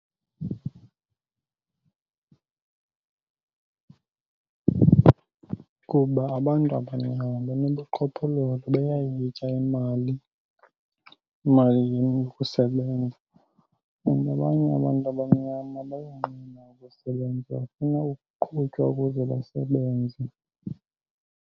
Kuba abantu abamnyama banobuqhophololo, bayayitya imali, imali yokusebenza. And abanye abantu abamnyama bayonqena ukusebenza, bafuna ukuqhutywa ukuze basebenze.